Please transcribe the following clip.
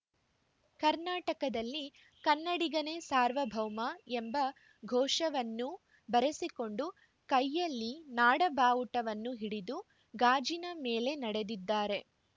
ಕರ್ನಾಟಕದಲ್ಲಿ ಕನ್ನಡಿಗನೇ ಸಾರ್ವಭೌಮ ಎಂಬ ಘೋಷವನ್ನೂ ಬರೆಸಿಕೊಂಡು ಕೈಯಲ್ಲಿ ನಾಡ ಬಾವುಟವನ್ನು ಹಿಡಿದು ಗಾಜಿನ ಮೇಲೆ ನಡೆದಿದ್ದಾರೆ